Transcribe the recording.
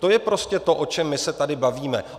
To je prostě to, o čem my se tady bavíme.